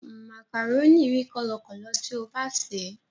Màkàrónì rí kọ́lọkọ̀lọ tí o bá sèé.